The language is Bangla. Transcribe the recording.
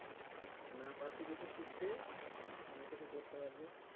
না পারছি কিছু শিখতে না কিছু করতে পারব